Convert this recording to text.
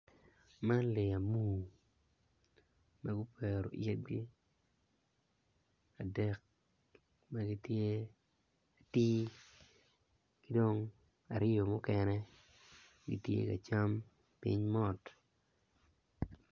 Man lee amuru dok okwero i ye agwi adek magitye tir kidong jo mukene gitye ka cam ping mot.